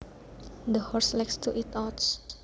The horse likes to eat oats